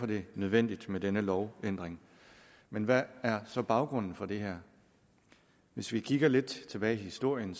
det nødvendigt med denne lovændring men hvad er så baggrunden for det her hvis vi kigger lidt tilbage i historien